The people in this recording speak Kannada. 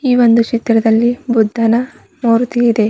ಈ ಒಂದು ಚಿತ್ರದಲ್ಲಿ ಬುದ್ಧನ ಮೂರ್ತಿ ಇದೆ.